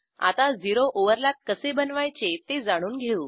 आता zero overlap कसे बनवायचे ते जाणून घेऊ